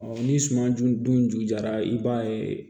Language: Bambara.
ni suman dun jujara i b'a ye